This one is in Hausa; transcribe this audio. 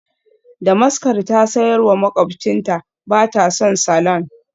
Damaskar ta sayar wa makwabcinta, ba ta son salon.